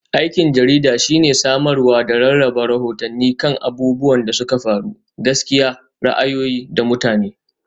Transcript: Aikin jarida shine samarwa da rarraba rahotanni kan abubuwan da suka faru, gaskiya, ra'ayoyi, da mutane.